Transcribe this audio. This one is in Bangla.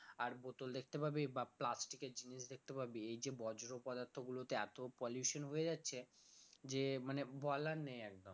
আর bottle দেখতে পাবি বা plastic এর জিনিস দেখতে পাবি এই যে বজ্র পদার্থ গুলোতে এত pollution হয়ে যাচ্ছে যে মানে বলার নেই একদম